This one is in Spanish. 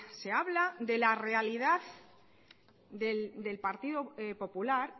se habla de la realidad del partido popular